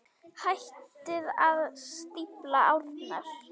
Hættið að stífla árnar.